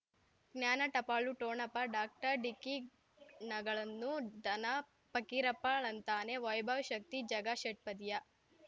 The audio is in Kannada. ಜ್ಞಾನ ಟಪಾಲು ಠೊಣಪ ಡಾಕ್ಟರ್ ಢಿಕ್ಕಿ ಣಗಳನ್ನು ಧನ ಫಕೀರಪ್ಪ ಳಂತಾನೆ ವೈಭವ್ ಶಕ್ತಿ ಝಗಾ ಷಟ್ಪದಿಯ